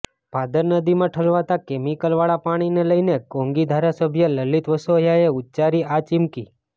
ભાદર નદીમાં ઠલવાતા કેમિકલવાળા પાણીને લઈને કોંગી ધારાસભ્ય લલીત વસોયાએ ઉચ્ચારી આ ચીમકી